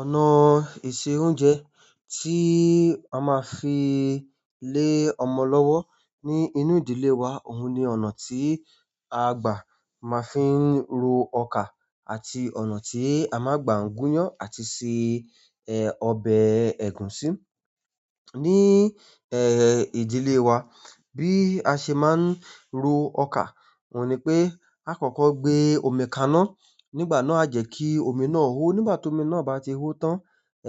Ọ̀nà ìse oúnjẹ tí a má fi lé ọmọ lọ́wọ́ ní inú ìdílé wa, òun ni ọ̀nà tí a gbà máa ń fi ro ọkà àti ọ̀nà tí a má gbà n gún yán àti ṣe, eh, ọbẹ̀ ẹ̀gúsí. Ni, eh, ìdílé wa bí a ṣe máa ń ro ọkà, òun ni pé àkọ́kọ́ gbé omi kaná, nígbà náà a jẹ́ kí omi náà hó. Nígbà tí omi náà bá ti hó tán,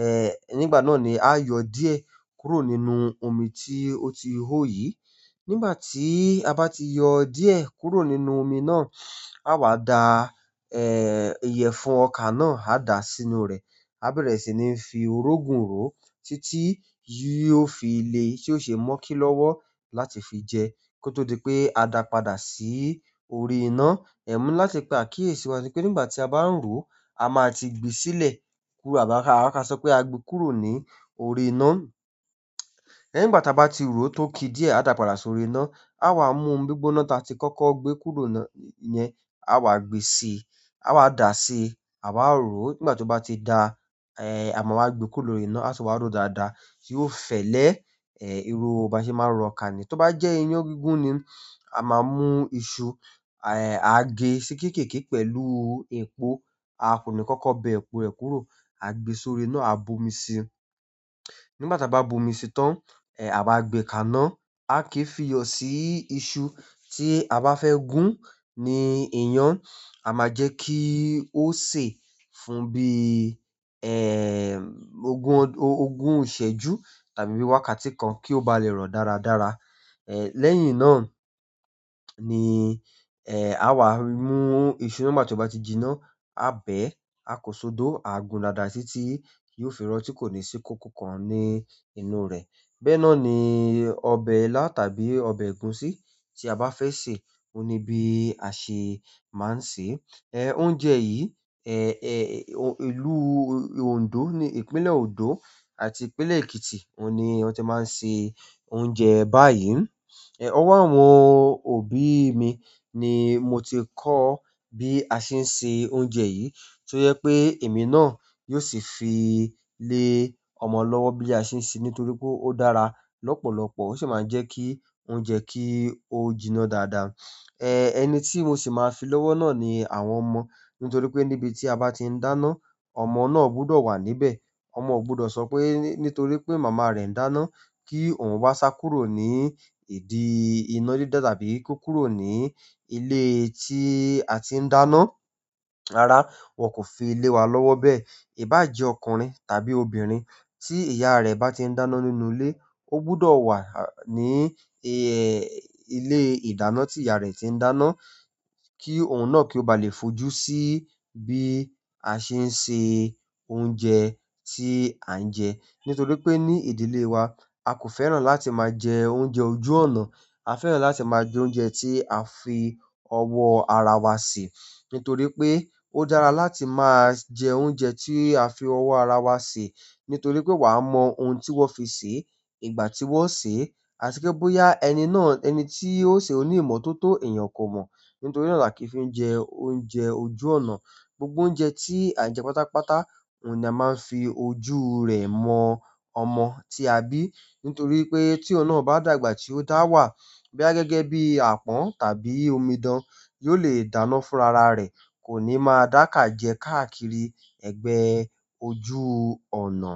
eh, nígbà náà ni a yọ díẹ̀ kúrò nínú omi tí ó ti hó yìí. Nígbà tí a bá ti yọ díẹ̀ kúrò nínú omi náà, a wà da, eh, ìyẹ̀fun ọkà náà, a dà sínú rẹ̀. A bẹ̀rẹ̀ sì ni fi orógun ró títí yi o fi le ṣé o ṣe mókí lọ́wọ́ láti fi jẹ, kó tó di pé a dà padà sí orí iná. Ẹ̀ mo ni láti pe àkíyèsí wa pé nígbà tí a bá ń ró, a máa ti gbé sílẹ̀ kúrò àbá ka sọ pé a gbe kúrò ní orí iná. Nígbà ta bá ti ró tó ki díẹ̀, a dà padà sórí iná. A wà mú omí gbigbóná ta ti kọ́kọ́ gbé kúrò náà yẹn. A wà gbe sí, a wà dà si, a wà ró. Nígbà tó bá ti dà, eh, àmá wà gbe kúrò lórí iná, à tun wà ró dáadáa yóò fẹ́lẹ́, eh, irú ba ṣe máa ń ro ọkà ni. Tó bá jẹ́ iyán gígún ni, a máa mú iṣu, eh, a gé sí kéékèèké pẹ̀lú epo. A kò ní kọ́kọ́ bẹ epo rẹ̀ kúrò. A gbe sórí iná, a bo omi sí i. Nígbà ta bá bu omi sí i tán, eh, a wà gbe kaná. A kìí fi yọ sí iṣu tí a bá fẹ́ gún ní iyán. A máa jẹ́ kí ó sè fún bí, eh, ogún, ogún iṣèjú tàbí bi wákàtí kan kí ó bá lè rọ̀ dáradára. Eh, lẹ́yìn náà ni, eh, a wà mú iṣu náà nígbà tí ó bá ti jinná, a bẹ̀, a kò ṣodo, a gun dada tití yóò fi rọ́ tí kò ní sí kókó kan ní inú rẹ̀. Bẹ́ẹ̀ náà ni ọbẹ̀ ila tàbí ọbẹ̀ egusi ti a ba fe se oni bi a se maa n se. Eh, oúnjẹ yìí, eh, eh, ìlú Òndó ni ìpínlẹ̀ Òndó àti ìpínlẹ̀ Èkìtì, òun ni wọn ti máa ń se oúnjẹ báyìí. Eh, ọwọ́ àwọn òbí mi ni mo ti kọ́ bí a ṣe ń se oúnjẹ yìí. To jẹ pé èmi náà yóò sì fi lé ọmọ lọ́wọ́ bí a ṣe ń ṣe ní torí pé ó dára lọ́pọ̀lọpọ̀. O si maa n je ki oúnjẹ ki o jina dáadáa. Eh, ẹni tí mo sì máa ń fi lọ́wọ́ náà ni àwọn ọmọ. Nitoripe nibi ti a ba ti n dáná ọmọ náà gbudo wa níbẹ̀. Ọmọ ò gbọdọ̀ sọ pé nítorí pé màmá rẹ̀ ń dáná kí òun wá sá kúrò ní ìdí iná dídá tàbí kó kúrò ní ilé tí a ti ń dáná. Rárá, wọn kò fi lé wa lọ́wọ́ bẹ́ẹ̀. Iba je ọkùnrin tàbí obìnrin ti iya re ba ti n dáná nínú ile o gbudo wa ni e ile ìdáná ti iya re ti n dáná ki oun náà ki o ba le fojú si bi a se n se oúnjẹ ti a n je. Nítorí pé ní ìdílé wa, a kò fẹ́ràn láti máa jẹ oúnjẹ ojú ọnà. A fẹ́ràn láti maa n je oúnjẹ ti a fi owo ara wa se. Nítorí pé ó dára láti máa jẹ oúnjẹ tí a fi ọwọ́ ara wa sè. Nítorí pé wà á mọ ohun tí wọ́n fi sè é, ìgbà tí wọ́n sè é, àti pe bóyá ẹni náà ẹni tí ó sè o ní ìmọ̀ tó tó èèyàn kò mọ̀. Nítorí náà la kì í fi jẹ oúnjẹ ojú ọnà. Gbogbo oúnjẹ tí à ń jẹ pátápátá, òun ni a máa ń fi ojú rẹ̀ mọ ọmọ tí a bí. Nítorí pé tí òun náà bá dàgbà tí ó dáwà, bóyá gẹ́gẹ́ bí àpọ́n tàbí omidan, yóò lè dáná fún ara rẹ̀. Koni maa da ka je kaa kiri egbe ojú ọ̀nà.